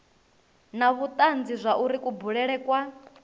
na vhutanzi zwauri kubulele kwa